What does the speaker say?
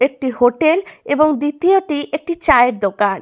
একটি হোটেল এবং দ্বিতীয়টি একটি চায়ের দোকান।